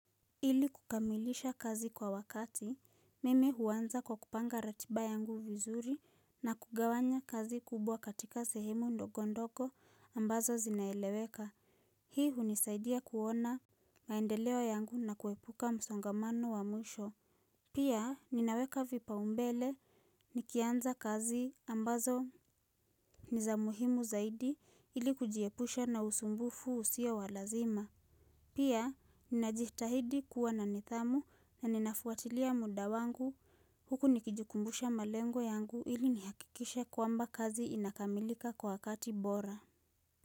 Ili kukamilisha kazi kwa wakati, mimi huanza kwa kupanga ratiba yangu vizuri na kugawanya kazi kubwa katika sehemu ndogo ndogo ambazo zinaeleweka. Hii hunisaidia kuona maendeleo yangu na kuepuka msongamano wa mwisho. Pia ninaweka vipaumbele nikianza kazi ambazo ni za muhimu zaidi ili kujiepusha na usumbufu usio wa lazima. Pia, ninajitahidi kuwa na nidhamu na ninafuatilia muda wangu huku nikijukumbusha malengo yangu ili nihakikishe kwamba kazi inakamilika kwa wakati bora.